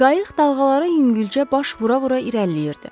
Qayıq dalğaları yüngülcə baş vura-vura irəliləyirdi.